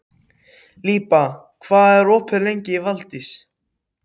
Líba, hvað er lengi opið í Valdís?